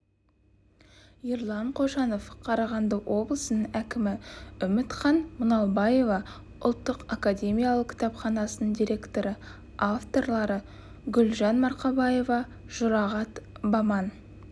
ерлан қошанов қарағанды облысының әкімі үмітхан мұңалбаева ұлттық академиялық кітапханасының директоры авторлары гүлжан марқабаева жұрағат баман